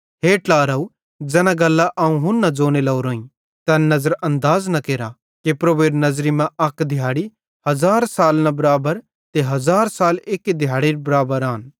हे ट्लारव ज़ैना गल्लां अवं हुन्ना ज़ोने लोरोईं तैन नज़रानदाज़ न केरा कि प्रभुएरी नज़री मां अक दिहाड़ी हज़ार सालन बराबरे ते हज़ार साल एक्की दिहैड़रे बराबर आन तैना तैसेरेलेइ अक्कां ज़ेरे आन